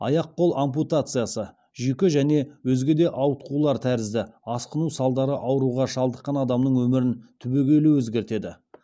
аяқ қол ампутациясы жүйке және өзге де ауытқулар тәрізді асқыну салдары ауруға шалдыққан адамның өмірін түбегейлі өзгертеді